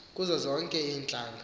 kuzo zonke iintlanga